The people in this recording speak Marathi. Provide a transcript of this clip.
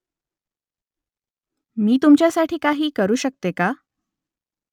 मी तुमच्यासाठी काही करू शकते का ?